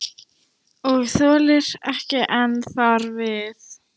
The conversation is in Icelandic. Og þolir ekki enn þar við.